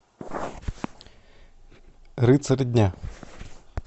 рыцарь дня